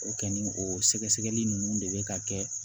O kɔni o sɛgɛsɛgɛli ninnu de bɛ ka kɛ